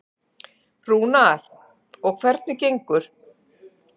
Rúnar: Og hvernig gengur?